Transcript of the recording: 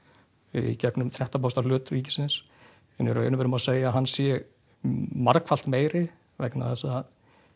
í gegnum þrettán prósenta hlut ríkisins en í raun og veru má segja að hann sé margfalt meiri vegna þess að